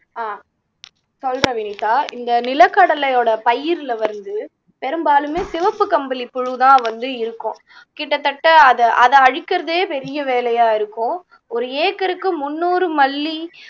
ஆஹ் சொல்றா வினிதா இந்த நிலக்கடலையோட பயிர்ல வந்து பெரும்பாலுமே சிவப்பு கம்பளி புழுதான் வந்து இருக்கும் கிட்டத்தட்ட அதை அதை அழிக்கறதே பெரிய வேலையா இருக்கும் ஒரு ஏக்கருக்கு முந்நூறு மல்லி